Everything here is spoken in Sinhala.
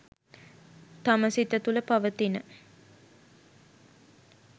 තම සිත තුළ පවතින